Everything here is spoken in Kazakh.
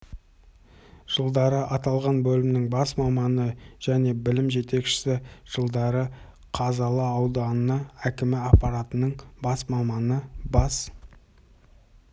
жылдары аталған бөлімнің бас маманы және бөлім жетекшісі жылдары қазалы ауданы әкімі аппаратының бас маманы бас